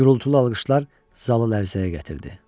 Gürultulu alqışlar zalı lərzəyə gətirdi.